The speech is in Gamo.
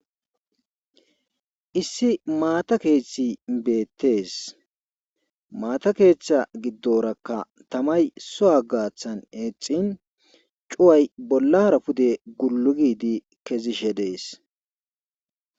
Issi maata keeththi beettees; maata keeththa giddorakka tamay so7a gaathan eexin cuway bollara pude gullu giidi kezishe dees.